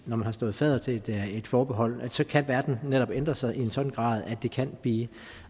man har stået fadder til et forbehold så kan verden netop ændre sig i en sådan grad at det kan give